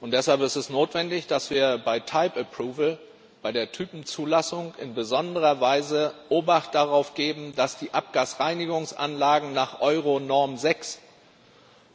Deshalb ist es notwendig, dass wir bei bei der Typenzulassung, in besonderer Weise Obacht darauf geben, dass die Abgasreinigungsanlagen nach Euronorm 6